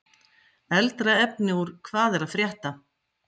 Eldra efni úr Hvað er að frétta?